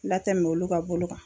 Latɛmɛ olu ka bolo kan